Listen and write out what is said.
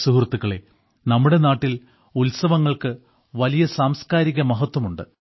സുഹൃത്തുക്കളേ നമ്മുടെ നാട്ടിൽ ഉത്സവങ്ങൾക്ക് വലിയ സാംസ്കാരിക മഹത്വം ഉണ്ട്